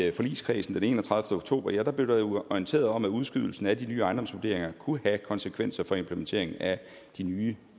i forligskredsen den enogtredivete oktober jo blev orienteret om at udskydelsen af de nye ejendomsvurderinger kunne have konsekvenser for implementering af de nye